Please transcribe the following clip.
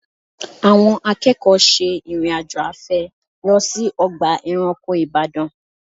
Àwọn akẹ́kọ̀ọ́ ṣe ìrìn-àjò afẹ́ lọ sí ọgbà ẹranko Ìbàdàn